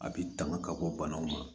A bɛ tanga ka bɔ banaw ma